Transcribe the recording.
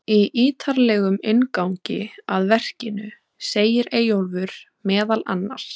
Í ítarlegum inngangi að verkinu segir Eyjólfur meðal annars: